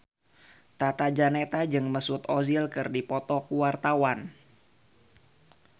Tata Janeta jeung Mesut Ozil keur dipoto ku wartawan